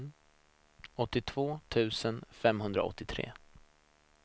åttiotvå tusen femhundraåttiotre